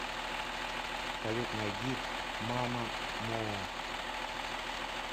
салют найди мамамоо